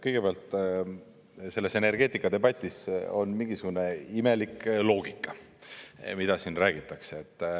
Kõigepealt, selles energeetikadebatis on mingisugune imelik loogika, mida siin räägitakse.